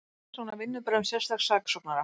Vill rannsókn á vinnubrögðum sérstaks saksóknara